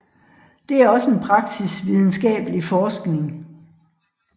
Det er også en praksis videnskabelig forskning